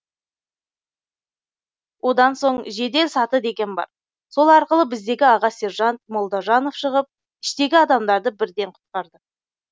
одан соң жедел саты деген бар сол арқылы біздегі аға сержант молдажанов шығып іштегі адамдарды бірден құтқарды